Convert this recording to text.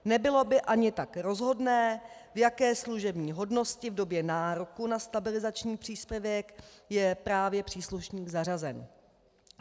Nebylo by ani tak rozhodné, v jaké služební hodnosti v době nároku na stabilizační příspěvek je právě příslušník zařazen.